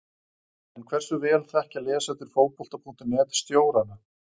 En hversu vel þekkja lesendur Fótbolta.net stjórana?